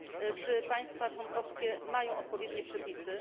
Czy państwa członkowskie mają odpowiednie przepisy?